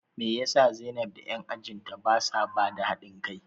Me yasa zainab da 'yan ajin ta basa bada hadin kai?